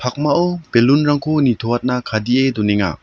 pakmao belun rangko nitoatna kadee donenga.